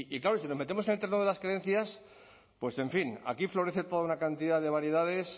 claro si nos metemos en el terreno de las creencias pues en fin aquí florece toda una cantidad de variedades